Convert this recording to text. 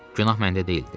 Günah məndə deyildi.